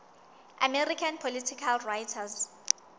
american political writers